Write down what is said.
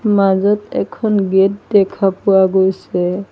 মাজত এখন গেট দেখা পোৱা গৈছে।